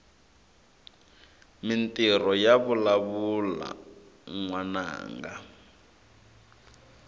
mintirho yavalavula nwananga